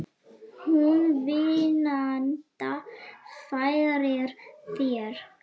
Hún vínanda færir þér.